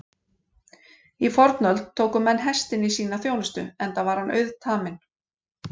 Í fornöld tóku menn hestinn í sína þjónustu enda er hann auðtaminn.